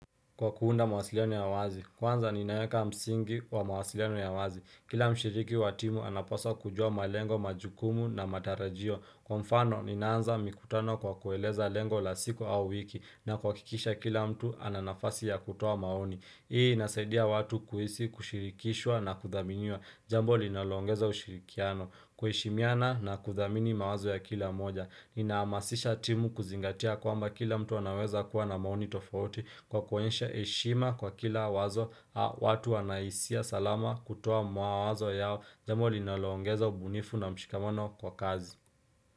Kwa kuunda mawasiliano ya wazi, kwanza ninaeka msingi wa mawasiliano ya wazi. Kila mshiriki wa timu anapaswa kujua malengo majukumu na matarajio. Kwa mfano, ninaanza mikutano kwa kueleza lengo la siku au wiki na kuwakikisha kila mtu ananafasi ya kutoa maoni. Hii inasaidia watu kuhisi kushirikishwa na kuthaminiwa Jambo linalo ongeza ushirikiano kuheshimiana na kuthamini mawazo ya kila mmoja Ninahamasisha timu kuzingatia kwamba kila mtu anaweza kuwa na maoni tofauti Kwa kuonesha heshima kwa kila wazo watu wanahisia salama kutoa mawazo yao Jambo linaloongeza ubunifu na mshikamono kwa kazi.